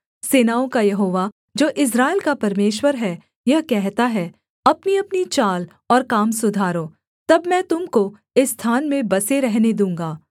सेनाओं का यहोवा जो इस्राएल का परमेश्वर है यह कहता है अपनीअपनी चाल और काम सुधारो तब मैं तुम को इस स्थान में बसे रहने दूँगा